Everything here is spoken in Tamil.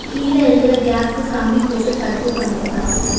கீழ இருக்கிற கேப்க்கு கம்பி போட்டு தடுப்பு பண்ணிருக்காங்க.